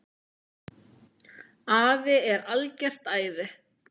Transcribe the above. Afi er algert æði.